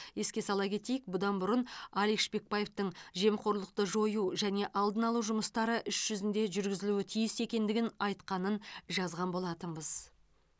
еске сала кетейік бұдан бұрын алик шпекбаевтың жемқорлықты жою және алдын алу жұмыстары іс жүзінде жүргізілуі тиіс екендігін айтқанын жазған болатынбыз